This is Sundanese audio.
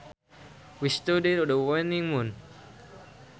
We studied the waning moon